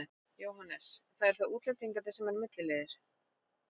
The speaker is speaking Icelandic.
Jóhannes: Það eru þá útlendingarnir sem eru milliliðir?